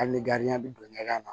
Hali ni bɛ don ɲɛgɛn na